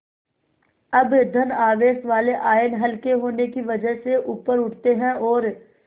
अब धन आवेश वाले आयन हल्के होने की वजह से ऊपर उठते हैं और